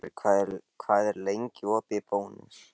Valberg, hvað er lengi opið í Bónus?